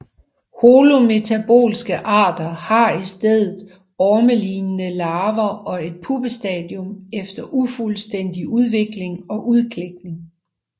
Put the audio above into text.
Holometabolske arter har i stedet ormelignende larver og et puppestadium efter ufuldstændig udvikling og udklækning